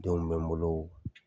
Denw bɛ n bolo.